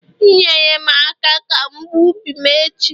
nyere m aka ka m gbuo ubi m echi